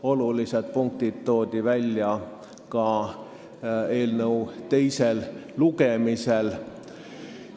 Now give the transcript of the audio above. Olulised punktid toodi välja ka eelnõu teisel lugemisel.